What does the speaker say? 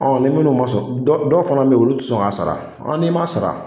Ɔ ni minnu ma sɔn dɔw fana bɛ yen olu tɛ sɔn k'a sara ɔ n'i m'a sara